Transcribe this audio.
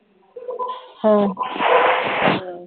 ਹਾਂ